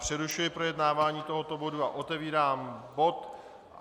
Přerušuji projednávání tohoto bodu a otevírám bod